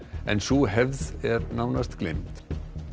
en sú hefð er nánast gleymd